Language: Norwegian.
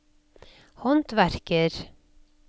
håndverker